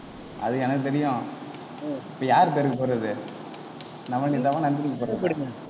அது எனக்கு தெரியும். இப்ப யாரு பேருக்கு போடறது நவநீதாவா நந்தினிக்கு போடறதா